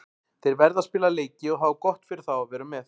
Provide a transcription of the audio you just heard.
Þeir verða að spila leiki og það var gott fyrir þá að vera með.